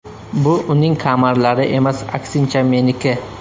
Bu uning kamarlari emas, aksincha meniki.